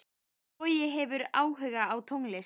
Bogi hefur áhuga á tónlist.